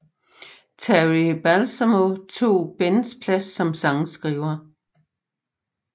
Terry Balsamo tog Bens plads som sangskriver